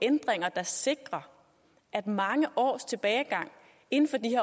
ændringer der sikrer at mange års tilbagegang inden for de